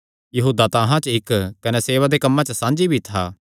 यहूदा तां अहां च इक्क कने सेवा दे कम्मां च भी साझी था